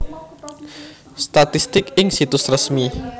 Statistik ing Situs Resmi